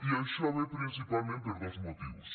i això ve principalment per dos motius